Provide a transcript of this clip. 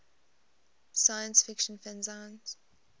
science fiction fanzines